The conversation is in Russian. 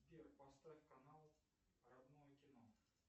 сбер поставь канал родное кино